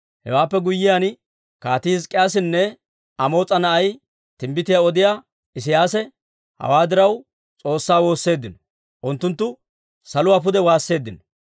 Hewaappe guyyiyaan, Kaatii Hizk'k'iyaasinne Amoos'a na'ay, timbbitiyaa odiyaa Isiyaasi hawaa diraw, S'oossaa woosseeddino; unttunttu saluwaa pude waasseeddino.